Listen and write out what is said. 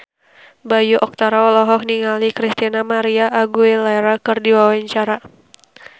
Bayu Octara olohok ningali Christina María Aguilera keur diwawancara